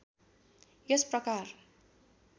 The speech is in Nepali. यस प्रकार